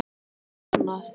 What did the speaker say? Svo er annað.